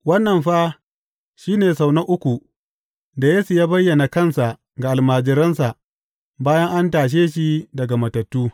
Wannan fa shi ne sau na uku da Yesu ya bayyana kansa ga almajiransa bayan an tashe shi daga matattu.